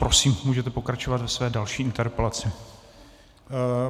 Prosím, můžete pokračovat ve své další interpelaci.